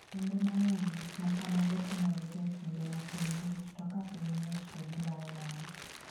Kinde mang'eny gik ma kamago timorega e kinde ma piny ng'ich, to ka piny ng'ich to gilal nono.